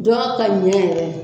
Dɔgɔ ka ɲɛ yɛrɛ